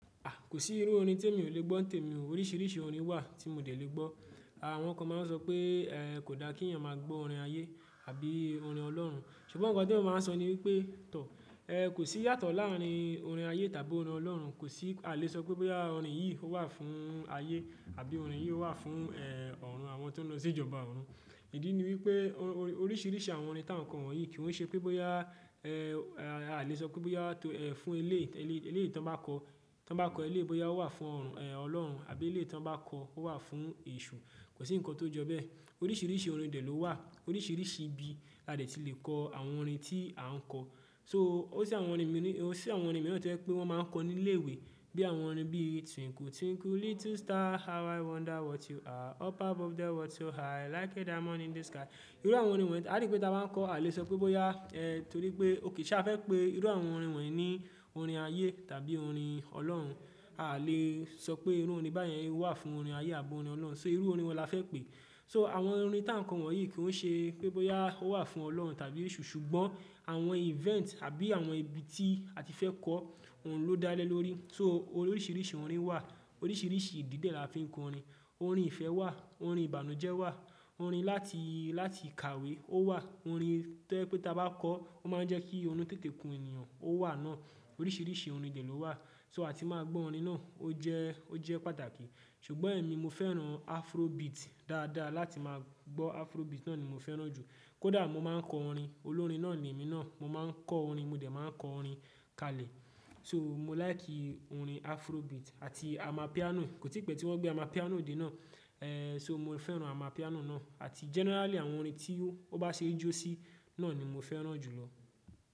A! Kò sí irú orin tí èmi ò lè gbọ́ ntèmi. Oríṣiríṣi orin wà tí mo dẹ̀ lè gbọ́. Àwọn kan máa ń sọ pé, ẹ́, kò dá kí èèyàn máa gbọ́ orin ayé àbí orin Ọlọ́run. Ṣùgbọ́n nǹkan tí èmi máa ń sọ ni wípé, tọ́ ẹ, kò sí yàtọ̀ láàrín orin ayé tàbí orin Ọlọ́run. Kò sí, a lè sọ pé bọ́ya orin yìí ó wà fún ayé àbí orin yìí ó wà fún, ẹ́, ọ̀run àwọn tí wọ́n ń lọ sí ìjọba ọ̀run. Ìdí ni wípé, oríṣiríṣi àwọn orin tá ń kọ wọ̀nyí kí n ṣe pé bọ́ya, ẹ́, a lè sọ pé bọ́ya tó, ẹ́, fún ilé, ilé, ilé tí wọ́n bá kọ́, tí wọ́n bá kọ ilé bọ́ya ó wà fún ọ̀run, ẹ́, Ọlọ́run àbí ilé tí wọ́n bá kọ ó wà fún èṣù. Kò sí ǹkan tó jọ bẹ́ẹ̀. Oríṣiríṣi orin dẹ̀ ló wà. Oríṣiríṣi ibi la dẹ̀ ti lè kọ àwọn orin tí a ń kọ. So ó sì àwọn orin míní, ó sì àwọn orin mìíràn tó jẹ́ pé wọ́n máa ń kọ ní ilé ìwé. Bí àwọn orin bí twinkle, twinkle little star, how i wonder what you are. Up above the world so high, like a diamond in the sky. Irú àwọn orin wọ̀nyí a rí pé tá a bá kọ́ a lè sọ pé bọ́ya, ẹ́, torí pé ó kì í ṣe a fẹ́ pé irú àwọn orin wọ̀nyí ni orin ayé tàbí orin Ọlọ́run. A lè sọ pé irú orin báyẹn wà fún orin ayé àbí orin Ọlọ́run. So irú orin wo la fẹ́ pèé. So àwọn orin tá ń kọ wọ̀nyí kí n ṣe pé bọ́ya ó wà fún Ọlọ́run tàbí èṣù, ṣùgbọ́n àwọn event àbí àwọn ibi tí a ti fẹ́ kọ òun ló dá lé lórí. So oríṣiríṣi orin wà. Oríṣiríṣi ìdí dẹ̀ la fi ń kọrin. Orin ìfẹ́ wà, orin ìbànújẹ́ wà, orin láti, láti kàwé ó wà, orin tó jẹ́ pé tá a bá kọ ọ́ ó máa ń jẹ́ kí orun tètè kun ènìyàn ó wà náà. Oríṣiríṣi orin dè ló wà. So àti máa gbọ́ orin náà. Ó jẹ́, ó jẹ́ pàtàkì. Ṣùgbọ́n èmi mo fẹ́ràn afrobeat dáadáa. Láti máa gbọ́ afrobeat náà ni mo fẹ́ràn jù. Kódà mo máa ń kọ orin, olórin náà ni èmi náà. Mo máa ń kọ́ orin, mo dè máa kọ orin kalẹ̀. So mo like orin afrobeat àti amapiano. Kò tí pẹ́ tí wọ́n gbé amapiano dé náà. Ẹ́, so mo fẹ́ràn amapiano náà àti generally àwọn orin tí ó bá ṣe jó sí náà ni mo fẹ́ràn jù lọ.